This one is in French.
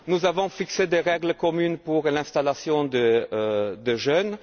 Nous avons fixé des règles communes pour l'installation des jeunes.